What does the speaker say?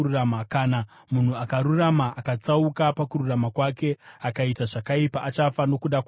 Kana munhu akarurama akatsauka pakururama kwake, akaita zvakaipa, achafa nokuda kwazvo.